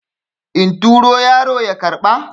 in turo yaro ya karɓa?